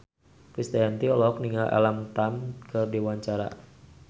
Krisdayanti olohok ningali Alam Tam keur diwawancara